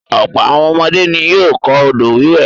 Ọ̀pọ̀ àwọn ọmọdé ni yóò kọ́ odò-wíwẹ̀.